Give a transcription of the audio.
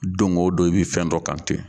Don o don i bɛ fɛn dɔ kante